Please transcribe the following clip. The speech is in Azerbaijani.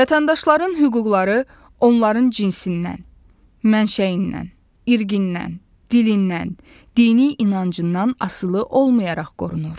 Vətəndaşların hüquqları onların cinsindən, mənşəyindən, irqindən, dilindən, dini inancından asılı olmayaraq qorunur.